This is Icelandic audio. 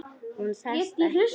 Hún sest ekki.